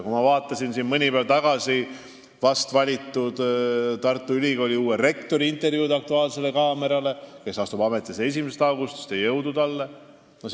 Kui ma vaatasin mõni päev tagasi vast valitud Tartu Ülikooli rektori intervjuud "Aktuaalsele kaamerale" – ta astub ametisse 1. augustil, jõudu talle!